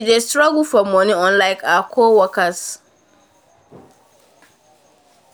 she dey struggle um for money unlike her co workers